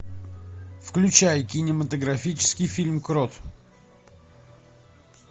включай кинематографический фильм крот